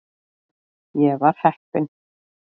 Ég var heppinn.